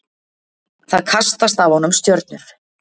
Það kastast af honum stjörnur.